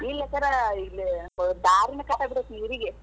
ಇಲ್ಲಂಕರ್ ದಾರಿನೇ cut ಆಗಿಬಿಟ್ಟೆತಿ ಈ ಊರಿಗೆ.